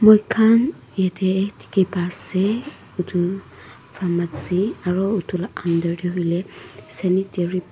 moikhan yatae dikhipaase edu farmacy aro edu la under tae hoilae sanitary pad --